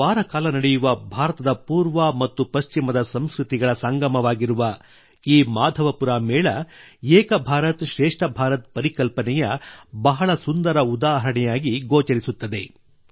ಒಂದು ವಾರ ನಡೆಯುವ ಭಾರತದ ಪೂರ್ವ ಮತ್ತು ಪಶ್ಚಿಮದ ಸಂಸ್ಕೃತಿಗಳ ಸಂಗಮವಾಗಿರುವ ಈ ಮಾಧವಪುರ ಮೇಳ ಏಕ ಭಾರತಶ್ರೇಷ್ಠ ಭಾರತ ಪರಿಕಲ್ಪನೆಯ ಬಹಳ ಸುಂದರ ಉದಾಹರಣೆಯಾಗಿ ಗೋಚರಿಸುತ್ತದೆ